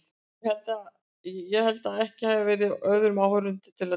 Ég held að ekki hafi verið öðrum áheyrendum til að dreifa.